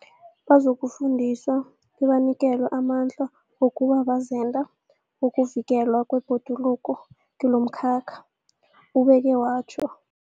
Bazokufundiswa bebanikelwe amandla wokuba bazenda bokuvikelwa kwebhoduluko kilomkhakha, ubeke watjho.